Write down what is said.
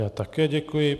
Já také děkuji.